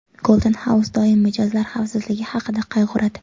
Golden House doim mijozlar xavfsizligi haqida qayg‘uradi.